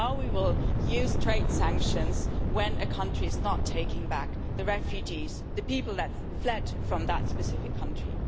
But now we will use trade sanctions when a country is not taking back the refugees, the people that fled from that specific country.